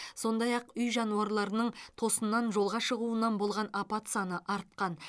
сондай ақ үй жануарларының тосыннан жолға шығуынан болған апат саны артқан